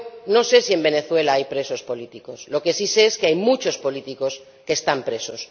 No sé si en Venezuela hay presos políticos, lo que sí sé es que hay muchos políticos que están presos.